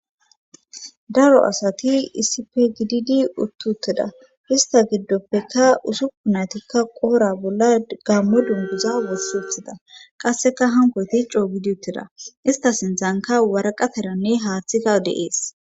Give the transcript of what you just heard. Daro asati isife gididi uttuutteda hista giddoppeka usuku naytikka qoora bolla gammo dunbuza wussuthida qasseka hankoti ccoo gidi utteda ista sindzanka waraqataranne haaththika deees.